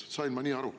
Ma sain nii aru.